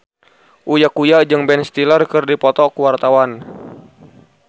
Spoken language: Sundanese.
Uya Kuya jeung Ben Stiller keur dipoto ku wartawan